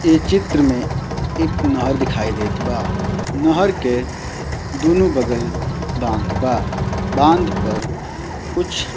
इ चित्र में एक नहर दिखाई देएत बा नहर के दुनु बगल बांध बा बांध पर कुछ --